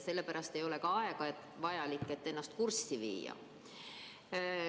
Sellepärast ei ole ka aega vaja, et ennast kurssi viia.